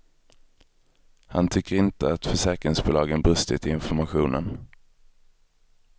Han tycker inte att försäkringsbolagen brustit i informationen.